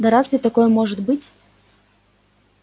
да разве такое может быть